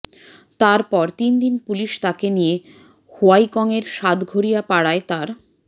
তারপর তিন দিন পুলিশ তাকে নিয়ে হোয়াইক্যংয়ের সাতঘড়িয়াপাড়ায় তার